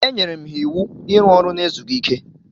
Enyere m ha iwu iru ọrụ n'ezughi ike.